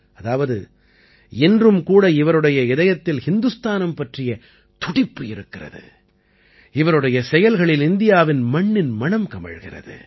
அதாவது இன்றும் கூட இவருடைய இதயத்தில் இந்துஸ்தானம் பற்றிய துடிப்பு இருக்கிறது இவருடைய செயல்களில் இந்தியாவின் மண்ணின் மணம் கமழ்கிறது